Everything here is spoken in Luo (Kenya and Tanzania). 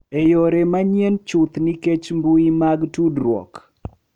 E yore manyien chuth nikech mbui mag tudruok.